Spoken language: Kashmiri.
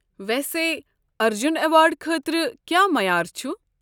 ویسے ارجُن ایوارڑ خٲطرٕ کیٛاہ معیار چھُ؟